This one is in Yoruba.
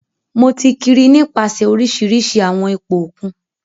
Mo ti kiri nipasẹ orisirisi awọn ipo okun.